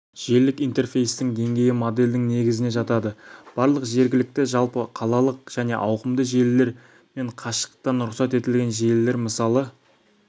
желілік интерфейстің деңгейі модельдің негізіне жатады барлық жергілікті жалпы қалалық және ауқымды желілер мен қашықтықтан рұқсат етілген желілер мысалы